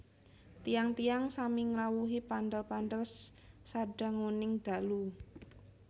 Tiyang tiyang sami ngrawuhi pandal pandal sadanguning dalu